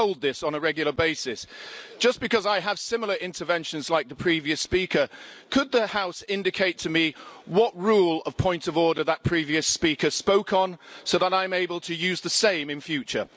We're told this on a regular basis, just because I have similar interventions like the previous speaker, could the House indicate to me what rule of point of order that previous speaker spoke on so that I'm able to use the same in future?